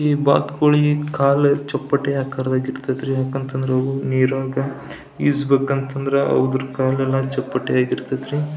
ಈಬಾತ್ ಕೋಳಿ ಕಾಲು ಚಪ್ಪಟೆ ಆಕಾರದಗೆ ಇರತೈತ್ರಿ ಯಾಕಂತ ಅಂದ್ರ ಅವು ನೀರೊಳಗ ಈಜ್ಬೇಕು ಅಂತ ಅಂದ್ರ ಅವು ಕಾಲೆಲ್ಲ ಚಪ್ಪಟೆ ಆಗಿರತೈತ್ರಿ.